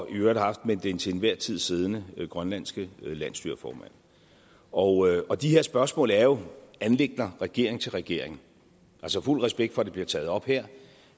øvrigt har haft med den til enhver tid siddende grønlandske landsstyreformand og og de her spørgsmål er jo anliggender regering til regering fuld respekt for at det bliver taget op her